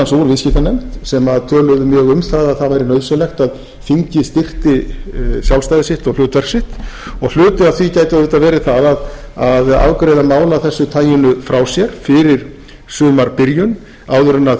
meðal annars úr viðskiptanefnd sem töluðu mjög um að það væri nauðsynlegt að þingið styrkti sjálfstæði sitt og hlutverk sitt og hluti af því gæti auðvitað verið það að afgreiða mál af þessu taginu frá sér fyrir sumarbyrjun áður en